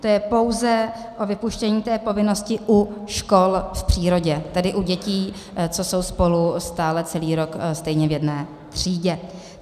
To je pouze o vypuštění té povinnosti u škol v přírodě, tedy u dětí, co jsou spolu stále celý rok stejně v jedné třídě.